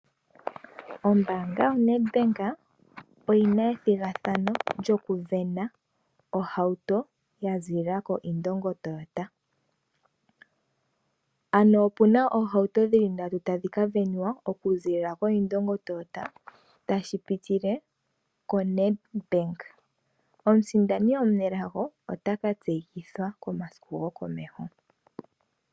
Ombaanga yoNedbank oyi na ethigathano lyokuvena ohauto ya ziilila koIndongo Toyota. Ano opu na oohauto dhi li ndatu tadhi ka venwa okuziilila koIndongo Toyota tashi pitile koNedbank. Omusindani omunelago ota ka tseyithwa komasiku gokomeho.